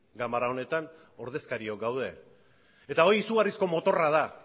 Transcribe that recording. ganbera honetan ordezkariak gaude eta hori izugarrizko motorra da